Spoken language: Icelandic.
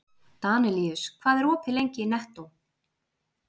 Danelíus, hvað er opið lengi í Nettó?